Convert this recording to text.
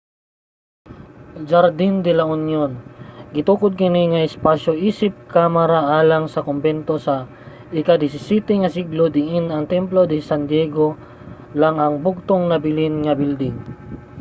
jardín de la unión. gitukod kini nga espasyo isip kamara alang sa kombento sa ika-17 nga siglo diin ang templo de san diego lang ang bugtong nabilin nga building